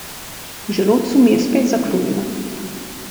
V želodcu mi je spet zakrulilo.